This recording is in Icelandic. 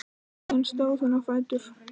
Síðan stóð hún á fætur.